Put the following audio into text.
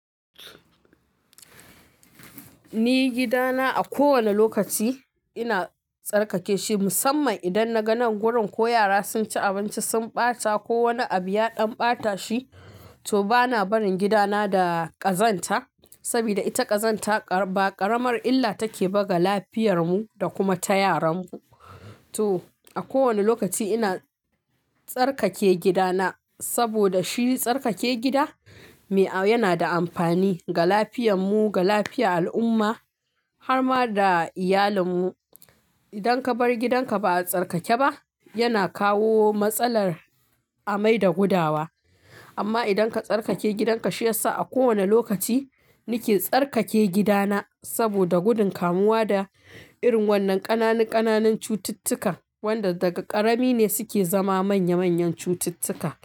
Ni gidana a kowane lokaci ina tsarkake shi musamman idan na ga gurin ko yara sun ci abinci sun ɓata ko wani abu ya ɗan ɓata shi. To bana barin gidana da ƙazanta saboda ita ƙazanta ba ƙaramar illa take ba ga lafiyar mu da kuma ta yaran mu. To a kowane lokaci ina tsarkake gidana saboda shi tsarkake gida yana da amfani ga lafiyar mu, ga lafiyar al'umma har ma da iyalin mu. Idan ka bar gidan ka ba a tsarkake ba yana kawo matsalar amai da gudawa. Amma idan ka tsarkake gidan ka shi yasa a kowane lokaci nake tsarkake gidana saboda gudun kamuwa da irin wannan ƙananu ƙananun cututtuka wanda daga ƙarami ne suke zama manya manyan cututtuka.